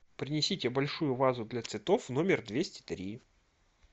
принесите большую вазу для цветов в номер двести три